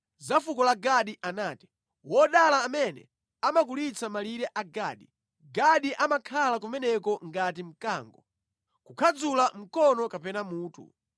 Za fuko la Gadi anati: “Wodala amene amakulitsa malire a Gadi! Gadi amakhala kumeneko ngati mkango, kukhadzula mkono kapena mutu.